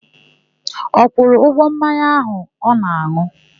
Ọ kwụrụ ụgwọ mmanya áhù ọ na-an̄ụ?